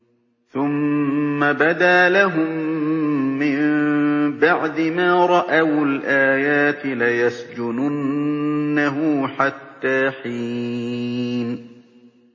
ثُمَّ بَدَا لَهُم مِّن بَعْدِ مَا رَأَوُا الْآيَاتِ لَيَسْجُنُنَّهُ حَتَّىٰ حِينٍ